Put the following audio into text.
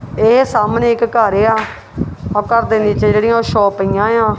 ਇਹ ਸਾਹਮਣੇ ਇੱਕ ਘੱਰ ਆ ਔਰ ਘਰ ਦੇ ਵਿੱਚ ਜਿਹੜੀ ਉਹ ਸ਼ੌਪ ਪਈਆਂ ਆਂ।